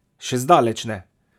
Še zdaleč ne!